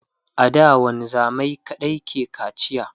a da wanzamai kaɗai ke kacia